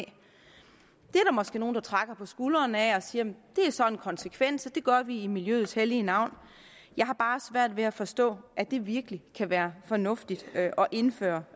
måske nogle der trækker på skuldrene af og siger det er så en konsekvens det gør vi i miljøets hellige navn jeg har bare svært ved forstå at det virkelig kan være fornuftigt at indføre